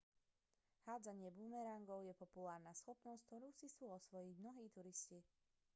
hádzanie bumerangov je populárna schopnosť ktorú si chcú osvojiť mnohí turisti